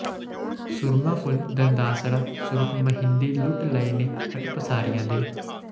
ਸੁਰਮਾ ਫੁਲ ਦੰਦਾਸੜਾ ਸੁਰਖ ਮਹਿੰਦੀ ਲੁਟ ਲਏ ਨੇ ਹੱਟ ਪਸਾਰੀਆਂ ਦੇ